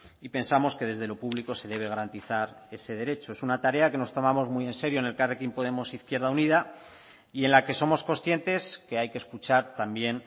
y pensamos que desde lo público se debe garantizar ese derecho es una tarea que nos tomamos muy en serio en elkarrekin podemos izquierda unida y en la que somos conscientes que hay que escuchar también